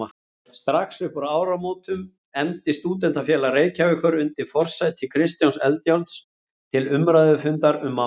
Strax uppúr áramótum efndi Stúdentafélag Reykjavíkur undir forsæti Kristjáns Eldjárns til umræðufundar um málið.